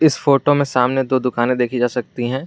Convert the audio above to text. इस फोटो में सामने दो दुकाने देखी जा सकती हैं।